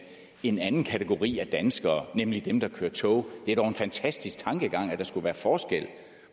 en anden kategori af danskere nemlig dem der kører tog det er dog en fantastisk tankegang at der skulle være forskel